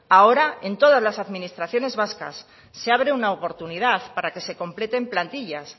ahora en todas las administraciones vascas se abre una oportunidad para que se completen plantillas